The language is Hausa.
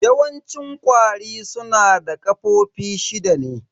Yawanci ƙwari su na da ƙafofi shida ne.